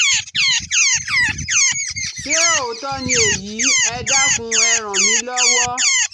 Ṣé òótọ́ ni èyí? Ẹ dákun e ràn mí lọ́wọ́